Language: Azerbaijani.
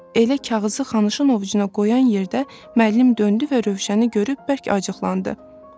Elə kağızı Xanışın ovucuna qoyan yerdə müəllim döndü və Rövşəni görüb bərk acıqlandı.